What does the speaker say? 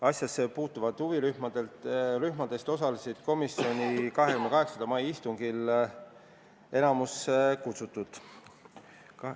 Asjasse puutuvatest huvirühmadest osales komisjoni 28. mai istungil enamik kutsutuid.